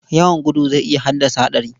Yawan gudu zai iya haddasa haɗari.